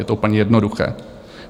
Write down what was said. Je to úplně jednoduché.